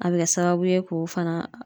A be kɛ sababu ye k'o fana